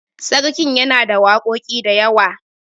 sarkin yana da waƙoƙi da yawa